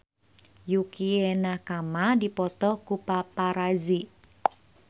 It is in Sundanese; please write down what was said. Yukie Nakama dipoto ku paparazi